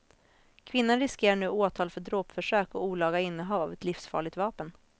Kvinnan riskerar nu åtal för dråpförsök och olaga innehav av ett livsfarligt vapen.